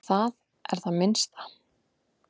Það er það minnsta.